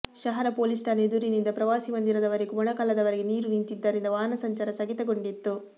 ಶಹರ ಪೊಲೀಸ್ ಠಾಣೆ ಎದುರುನಿಂದ ಪ್ರವಾಸಿ ಮಂದಿರದ ವರೆಗೂ ಮೊಣಕಾಲವರೆಗೆ ನೀರು ನಿಂತಿದ್ದರಿಂದ ವಾಹನ ಸಂಚಾರ ಸ್ಥಗಿತಗೊಂಡಿತ್ತು